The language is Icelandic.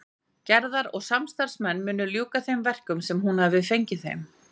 Gerðar og samstarfsmenn mundu ljúka þeim verkum sem hún hafði fengið þeim.